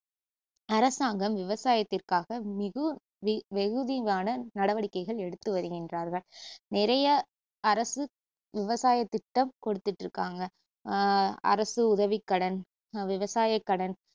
அரசாங்கம் விவசாயத்திற்காக மிகு~ வெ~ வெகுதியான நடவடிக்கைகள் எடுத்துவருகின்றார்கள் நிறைய அரசு விவசாயத்திட்டம் கொடுத்துட்டுருக்காங்க ஆஹ் அரசு உதவிக்கடன், விவசாயக்கடன்